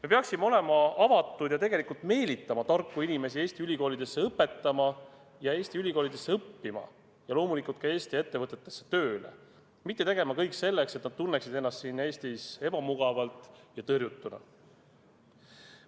Me peaksime olema avatud ja tegelikult meelitama tarku inimesi Eesti ülikoolidesse õpetama ja Eesti ülikoolidesse õppima ja loomulikult ka Eesti ettevõtetesse tööle, mitte tegema kõik selleks, et nad tunneksid ennast siin Eestis ebamugavalt ja tõrjutuna.